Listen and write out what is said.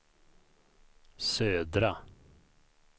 södra